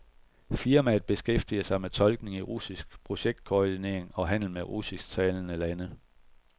Firmaet beskæftiger sig med tolkning i russisk, projektkoordinering og handel med russisktalende lande.